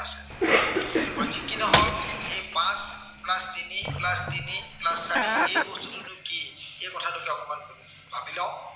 বাৰু, যি কি নহওক, এই পাঁচ plus তিনি plus তিনি, plus চাৰি। এই বস্তুটোতোনো কি এই কথাটোকে অকনমান পাতি লও।